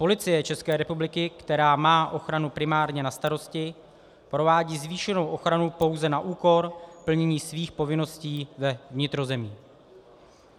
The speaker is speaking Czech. Policie České republiky, která má ochranu primárně na starosti, provádí zvýšenou ochranu pouze na úkor plnění svých povinností ve vnitrozemí.